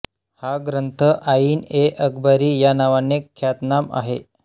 हा ग्रंथ आईन ए अकबरी या नावाने ख्यातनाम आहे